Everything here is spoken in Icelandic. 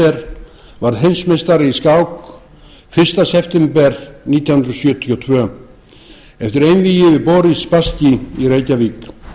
fischer varð heimsmeistari í skák fyrsta september nítján hundruð sjötíu og tvö eftir einvígi við boris spasskí í reykjavík